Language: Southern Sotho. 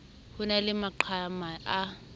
ho na le maqhama a